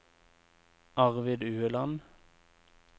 Arvid Ueland